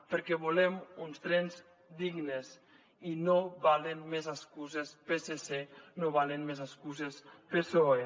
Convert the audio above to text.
perquè volem uns trens dignes i no valen més excuses psc no valen més excuses psoe